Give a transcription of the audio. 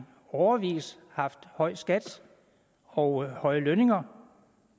årevis har haft høje skatter og høje lønninger